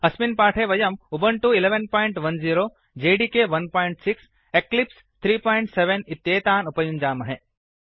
अस्मिन् पाठे वयम् उबुण्टु 1110 एकादश दश जेडिके 16 एकम् षट् तथा एक्लिप्स् 37 त्रयम् सप्त इत्येतान् उपयुञ्जामहे